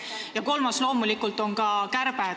Ja kolmas argument on loomulikult ka kärbe.